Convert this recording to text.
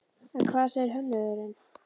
En hvað segir hönnuðurinn?